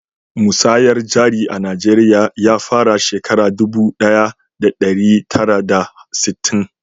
Musayar jari a najeriya ya fara shekara dubu daya da dari tara da sittin